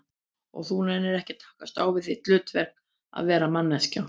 Og þú nennir ekki að takast á við þitt hlutverk, að vera manneskja?